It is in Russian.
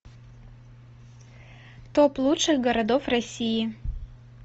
топ лучших городов россии